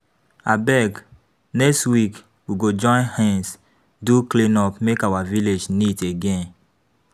Abeg, next week we go join hands do cleanup make our village neat again.